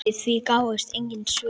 Við því gáfust engin svör.